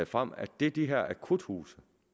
frem at det de her akuthuse